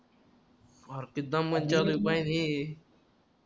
R